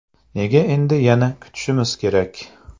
Nega endi yana kutishimiz kerak?